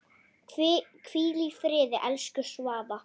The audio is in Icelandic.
Hvíl í friði, elsku Svava.